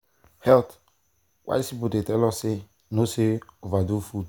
health-wise people dey tell us say no say no overdo food.